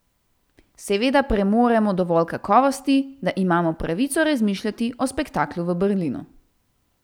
Seveda premoremo dovolj kakovosti, da imamo pravico razmišljati o spektaklu v Berlinu.